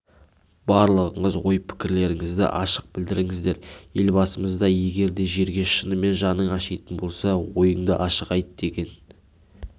барлығыңыз ой-пікірлеріңізді ашық білдірдіңіздер елбасымыз да егер жерге шынымен жаның ашитын болса ойыңды ашық айт деген